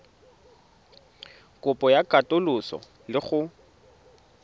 kopo ya katoloso le go